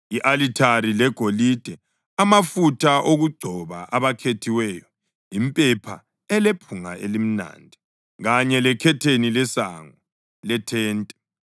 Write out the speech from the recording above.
i-alithari legolide, amafutha okugcoba abakhethiweyo, impepha elephunga elimnandi, kanye lekhetheni lesango lethente;